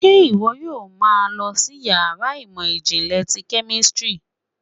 ṣe iwọ yóò má lọ sí iyàrá ìmọ jinle tí kemistri?